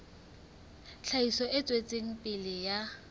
tlhahiso e tswetseng pele ya